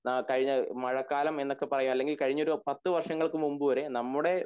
കഴിഞ്ഞ മഴക്കാലം എന്നൊക്കെ പറയാം അല്ലെങ്കിൽ കഴിഞ്ഞ ഒരു പത്തു വർഷങ്ങൾക്ക്‌ മുൻപ് വരെ നമ്മുടെ